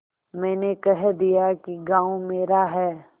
मैंने कह दिया कि गॉँव मेरा है